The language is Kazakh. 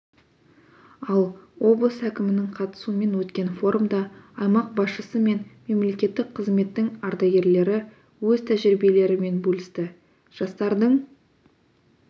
ал облыс әкімінің қатысуымен өткен форумда аймақ басшысы мен мемлекеттік қызметтің ардагерлері өз тәжірибелерімен бөлісті жастардың